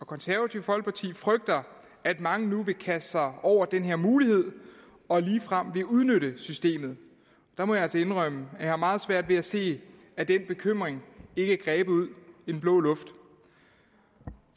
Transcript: konservative folkeparti frygter at mange nu vil kaste sig over den her mulighed og ligefrem vil udnytte systemet der må jeg altså indrømme at jeg har meget svært ved at se at den bekymring ikke er grebet ud af den blå luft